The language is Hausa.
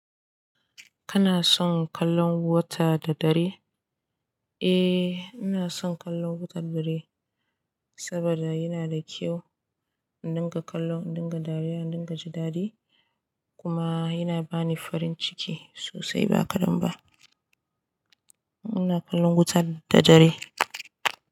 Kana son kallon wuta da dare? Eh, ina son kallon wuta da dare saboda yana da kyau in dinga kallo, in dinga dariya, in dinga ji dadi kuma yana bani farin ciki sosai ba kadan ba. Ina kallon wuta da dare.